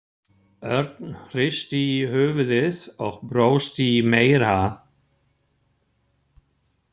Örn hristi höfuðið og brosti meira.